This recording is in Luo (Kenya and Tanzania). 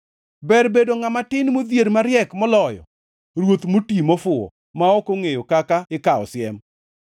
Ber bedo ngʼama tin modhier mariek moloyo ruoth moti mofuwo ma ok ongʼeyo kaka ikawo siem.